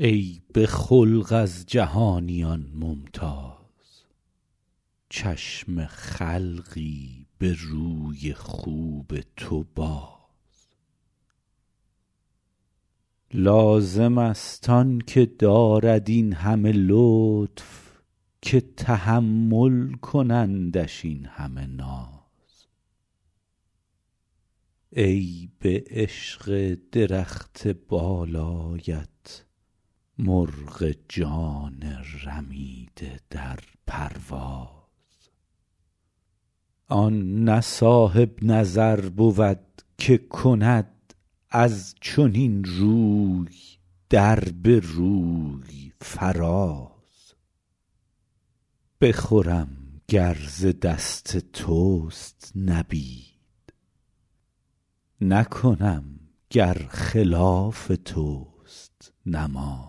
ای به خلق از جهانیان ممتاز چشم خلقی به روی خوب تو باز لازم است آن که دارد این همه لطف که تحمل کنندش این همه ناز ای به عشق درخت بالایت مرغ جان رمیده در پرواز آن نه صاحب نظر بود که کند از چنین روی در به روی فراز بخورم گر ز دست توست نبید نکنم گر خلاف توست نماز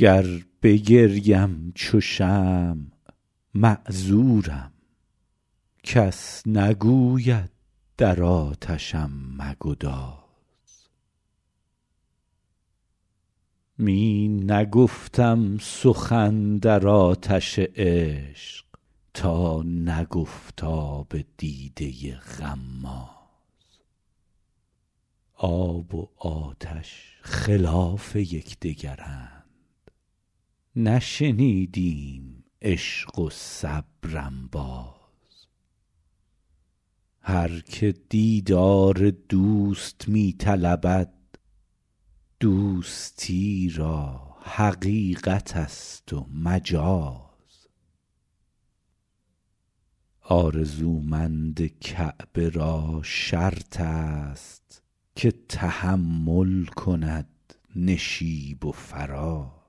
گر بگریم چو شمع معذورم کس نگوید در آتشم مگداز می نگفتم سخن در آتش عشق تا نگفت آب دیده غماز آب و آتش خلاف یک دگرند نشنیدیم عشق و صبر انباز هر که دیدار دوست می طلبد دوستی را حقیقت است و مجاز آرزومند کعبه را شرط است که تحمل کند نشیب و فراز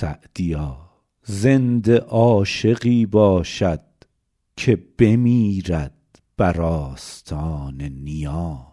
سعدیا زنده عاشقی باشد که بمیرد بر آستان نیاز